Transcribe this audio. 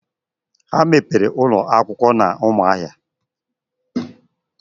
Ha mepere ụlọ akwụkwọ n'Ụmụahia.